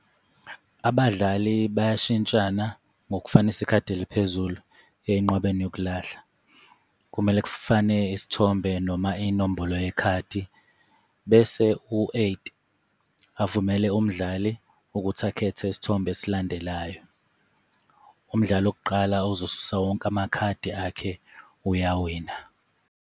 Abadlali bayashintshana ngokufanisa ikhadi eliphezulu enqwabeni yokulahla, kumele kufane isithombe noma inombolo yekhadi bese u-eight avumele umdlali ukuthi akhethe isithombe esilandelayo. Umdlali wokuqala ozosusa wonke amakhadi akhe uyawina.